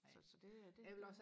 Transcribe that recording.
så så det det